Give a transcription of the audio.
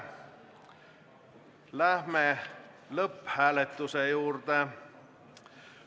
Läheme lõpphääletuse juurde.